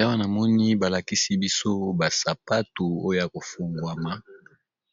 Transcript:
Awa navmoni ba lakisi biso ba sapatu oyo ya ko fungwama